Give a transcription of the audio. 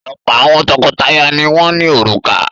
Ọ̀pọ̀ àwọn tọkọtaya ni wọ́n ní òrùka.